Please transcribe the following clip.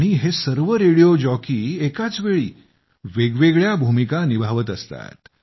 हे सर्व radio jockey एकाच वेळी वेगवेगळ्या भूमिका निभावत असतात